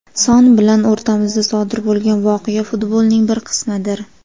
Son bilan o‘rtamizda sodir bo‘lgan voqea futbolning bir qismidir.